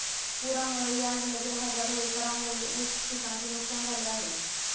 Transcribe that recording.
पुरामुळे या जिल्ह्यांतील हजारो एकरांवरील उस पिकांचे नुकसान झाले आहे.